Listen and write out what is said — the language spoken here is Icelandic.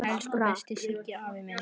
Elsku besti Siggi afi minn.